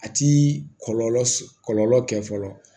A ti kɔlɔlɔ kɛ fɔlɔ